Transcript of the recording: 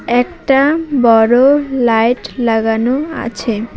একটা বড়ো লাইট লাগানো আছে।